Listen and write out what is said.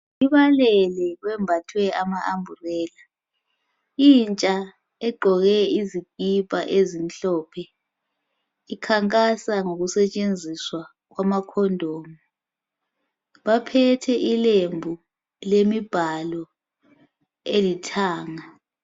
Abanengi bembathe amasambulena intsha igqoke izikipa ezimhlophe ikhankasa ngokusetshenziswa kwejezi lomkhwenyana (condom). Baphethe ilembu lemibhalo elithanga.